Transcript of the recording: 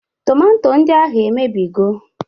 Tomanto ndị ahụ emebigo?